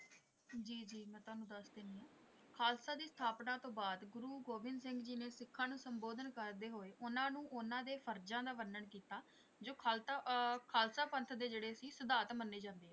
ਜੀ ਜੀ ਮੈਂ ਤੁਹਾਨੂੰ ਦੱਸ ਦਿੰਦੀ ਹਾਂ ਖ਼ਾਲਸਾ ਦੀ ਸਥਾਪਨਾ ਤੋਂ ਬਾਅਦ ਗੁਰੂ ਗੋਬਿੰਦ ਸਿੰਘ ਜੀ ਨੇ ਸਿੱਖਾਂ ਨੂੰ ਸੰਬੋਧਨ ਕਰਦੇ ਹੋਏ ਉਹਨਾਂ ਨੂੰ ਉਹਨਾਂ ਦੇ ਫਰਜ਼ਾਂ ਦਾ ਵਰਨਣ ਕੀਤਾ ਜੋ ਖ਼ਾਲਤਾ ਅਹ ਖ਼ਾਲਸਾ ਪੰਥ ਦੇ ਜਿਹੜੇ ਸੀ ਸਿਧਾਂਤ ਮੰਨੇ ਜਾਂਦੇ ਆ।